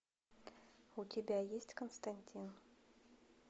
у тебя есть константин